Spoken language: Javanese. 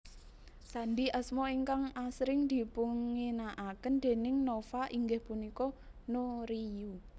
Sandhi asma ingkang asring dipunginakaken déning Nova inggih punika NoRiYu